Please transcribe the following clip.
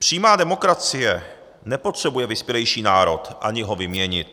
Přímá demokracie nepotřebuje vyspělejší národ, ani ho vyměnit.